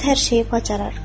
O qız hər şeyi bacarar.